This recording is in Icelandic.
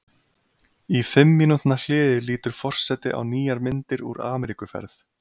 Í fimm mínútna hléi lítur forseti á nýjar myndir úr Ameríkuferð.